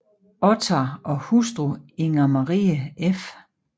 Ottar og hustru Inger Marie f